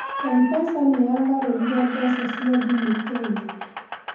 Mpesa nĩyaagarũrire mbeca cia thimũ Kenya.